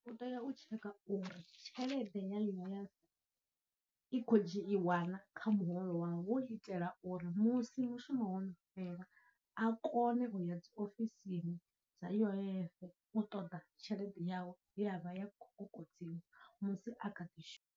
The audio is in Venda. U tea u tsheka uri tshelede ya ḽiṅwe ya i khou dzhiiwana kha muholo wau, hu u itela uri musi mushumo wono fhela a kone uya dziofisini dza U_I_F u ṱoḓa tshelede yawe ye ya vha i khou kokodziwa musi a kha ḓi shuma.